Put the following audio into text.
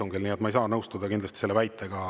Nii et ma ei saa kindlasti nõustuda sellise väitega.